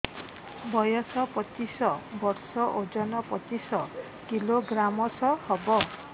ବୟସ ପଚିଶ ବର୍ଷ ଓଜନ ପଚିଶ କିଲୋଗ୍ରାମସ ହବ